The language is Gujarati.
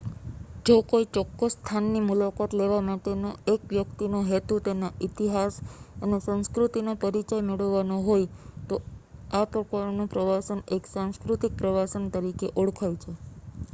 જો કોઈ ચોક્કસ સ્થાનની મુલાકાત લેવા માટેનો એક વ્યક્તિનો હેતુ તેના ઈતિહાસ અને સંસ્કૃતિનો પરીચય મેળવવાનો હોય તો આ પ્રકારનું પ્રવાસન એક સાંસ્કૃતિક પ્રવાસન તરીકે ઓળખાય છે